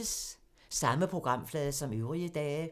Samme programflade som øvrige dage